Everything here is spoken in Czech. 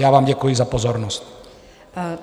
Já vám děkuji za pozornost.